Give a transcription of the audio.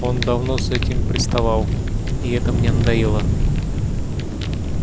он давно с этим приставал и это мне надоело